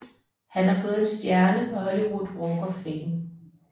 Han har fået en stjerne på Hollywood Walk of Fame